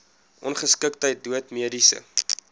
ongeskiktheid dood mediese